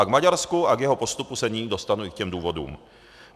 A k Maďarsku a k jeho postupu se nyní dostanu, i k těm důvodům.